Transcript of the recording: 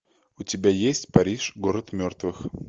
у тебя есть париж город мертвых